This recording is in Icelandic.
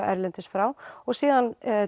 erlendis frá og síðan